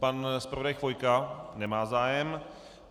Pan zpravodaj Chvojka - nemá zájem.